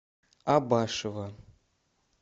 абашева